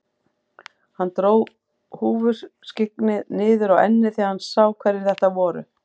Hann dró húfuskyggnið niður á ennið þegar hann sá hverjir þetta voru.